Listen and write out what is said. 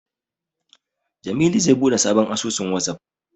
Jamilu zai buɗe sabon asusun Wazaf.